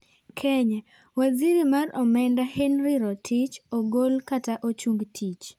Kenya:Waziri mar omenda Henry Rotich ogol kata ochung tich.